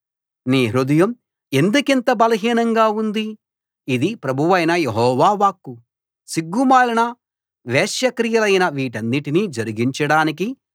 నీ హృదయం ఎందుకింత బలహీనంగా ఉంది ఇది ప్రభువైన యెహోవా వాక్కు సిగ్గుమాలిన వేశ్యాక్రియలైన వీటనన్నిటినీ జరిగించడానికి